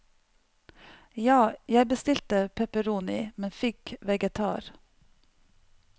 Ja, jeg bestilte pepperoni, men fikk vegetar.